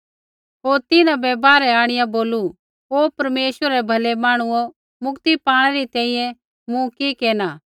होर तिन्हां बै बाहरै आंणिआ बोलू ओ परमेश्वरै रै भलै मांहणुओ मुक्ति पाणै री तैंईंयैं मूँ कि केरना